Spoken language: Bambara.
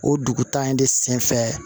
O dugu ta in de sen fɛ